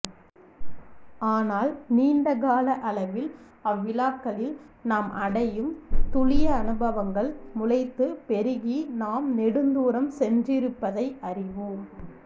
ஆனால் நீண்டகால அளவில் அவ்விழாக்களில் நாம் அடையும் துளியனுபவங்கள் முளைத்து பெருகி நாம் நெடுந்தூரம் சென்றிருப்பதை அறிவோம்